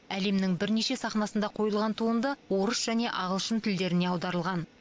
әлемнің бірнеше сахнасында қойылған туынды орыс және ағылшын тілдеріне аударылған